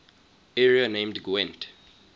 area named gwent